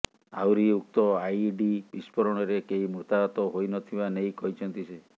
ଆହୁରି ଉକ୍ତ ଆଇଇଡି ବିସ୍ଫୋରଣରେ କେହି ମୃତାହାତ ହୋଇନଥିବା ନେଇ କହିଛନ୍ତି ସେ